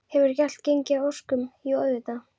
Hefur ekki allt gengið að óskum, jú auðvitað.